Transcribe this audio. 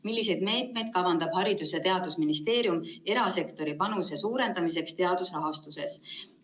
Milliseid meetmeid kavandab Haridus‑ ja teadusministeerium erasektori panuse suurendamiseks teadusrahastuses?